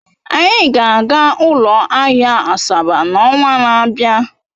Anyị ga-aga ụlọ ahịa Asaba n'ọnwa na-abịa.